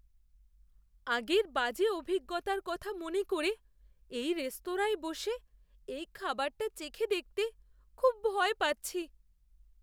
আগের বাজে অভিজ্ঞতার কথা মনে করে এই রেস্তোরাঁয় বসে এই খাবারটা চেখে দেখতে খুব ভয় পাচ্ছি।